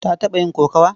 Ta taɓa yin kokawa?